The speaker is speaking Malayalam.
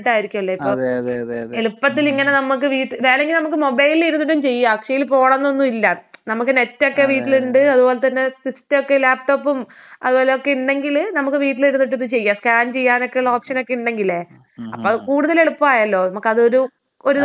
എളുപ്പത്തിലിങ്ങനെ നമുക്ക് വീട്ടിൽ വേണെങ്കി നമുക്ക് മൊബൈലിലിരുന്നിട്ടും ചെയ്യാം. അക്ഷയീ പോണം എന്നൊന്നുമില്ല. നമ്മക്ക് നെറ്റൊക്കെ വീട്ടിലുണ്ട് അത് പോലെത്തന്നെ സിസ്റ്റൊക്കെ ലാപ് ടോപ്പും അത് പോലെ ഒക്കെ ഉണ്ടെങ്കില് നമുക്ക് വീട്ടിലിരുന്നിട്ടിത് ചെയ്യാം. സ്കാൻ ചെയ്യാനൊക്കെയുള്ള ഓപ്ഷനൊക്കെ ഉണ്ടെങ്കില്. അപ്പൊ അത് കൂടുതൽ എളുപ്പമായല്ലോ നമുക്കത് ഒരു ഒരു ദിവസം പോയി കൊടുക്കണ്ട ഒരു ബുദ്ധിമുട്ട്.